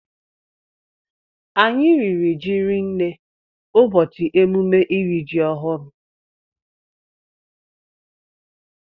Anyị riri jị rinne ụbọchị emume ịri jị ọhụụ